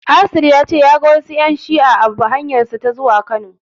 Asil ya ce ya ga ƴan shi'a a hanyarsa ta zuwa Kano.